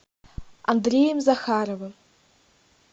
андреем захаровым